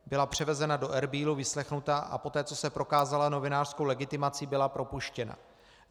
Byla převezena do Erbílu, vyslechnuta, a poté co se prokázala novinářskou legitimací, byla propuštěna.